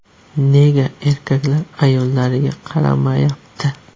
Nega erkaklar ayollariga qaramayapti?